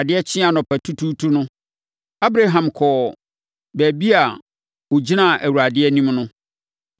Adeɛ kyee anɔpatutuutu no, Abraham kɔɔ baabi a ɔgyinaa Awurade anim no.